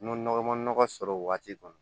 N'o nɔgɔ ma nɔgɔ sɔrɔ o waati kɔnɔ